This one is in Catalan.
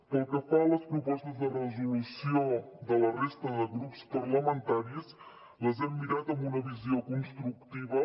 pel que fa a les propostes de resolució de la resta de grups parlamentaris les hem mirat amb una visió constructiva